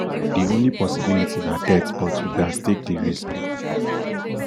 di only possibility na death but you gatz take di risk